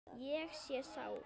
Ég er sár.